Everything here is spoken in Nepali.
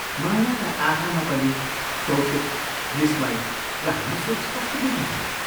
मायाका आँखामा पनि कौतुक, विस्मय र हाँसो स्पष्ट देखिन्थे।